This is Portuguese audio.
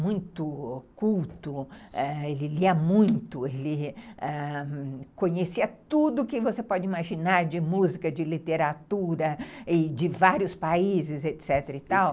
muito culto, ãh, ele lia muito, ele conhecia tudo que você pode imaginar de música, de literatura, de vários países, etc.